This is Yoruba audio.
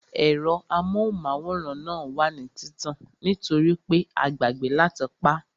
Ẹ̀rọ amóhùnmáwòrán náà wà ní títàn nítorípé a gbàgbẹ́ láti pá